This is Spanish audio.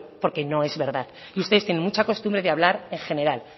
porque no es verdad y ustedes tienen mucha costumbre de hablar en general